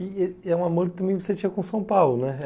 E e é um amor que também você tinha com São Paulo, né?